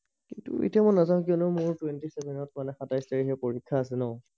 কিন্তু এতিয়া মই নাযাও কিয়নো মোৰ টুৱেণ্টি চেভেনত সাতাইশ তাৰিখে পৰীক্ষা আছে ন